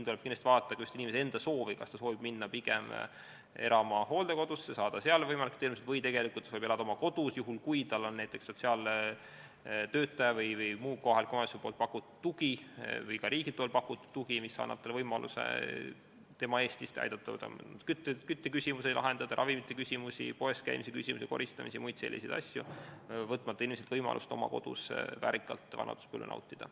Tuleb kindlasti vaadata inimese enda soovi, kas ta soovib minna elama hooldekodusse, saada seal võimalikku teenust, või tegelikult ta saab elada kodus, juhul kui tal on näiteks sotsiaaltöötaja või muu kohaliku omavalitsuse pakutud tugi või ka riigi pakutud tugi, mis annab võimaluse kütteküsimusi lahendada, raviküsimusi lahendada ning poes käimisel, koristamisel ja muude selliste asjade puhul teda toetada, võtmata inimestelt võimalust oma kodus väärikalt vanaduspõlve nautida.